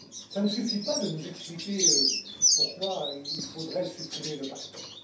Ça ne suffit pas de nous expliquer pourquoi il faudrait supprimer le backstop